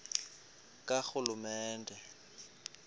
karhulumente